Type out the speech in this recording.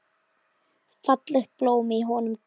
Fallegt blóm í honum grær.